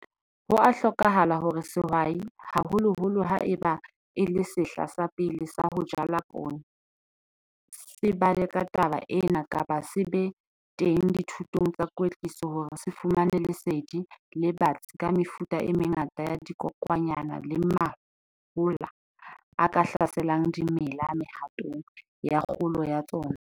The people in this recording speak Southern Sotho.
Ho a hlokahala hore sehwai, haholoholo ha eba e le sehla sa pele sa ho jala poone, se bale ka taba ena kapa se be teng dithutong tsa kwetliso hore se fumane lesedi le batsi ka mefuta e mengata ya dikokwanyana le mahola a ka hlaselang dimela mehatong ya kgolo ya tsona.